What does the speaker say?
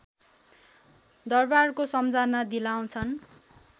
दरवारको सम्झना दिलाउँछन्